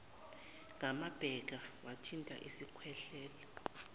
ngamabheka wathinta isikhwehlela